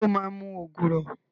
Ṣé o máa mu ògùrọ̀?